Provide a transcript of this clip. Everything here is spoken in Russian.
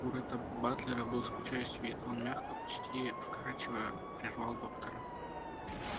у ретта батлера был скучающий вид он мягко почти вкрадчиво прервал доктора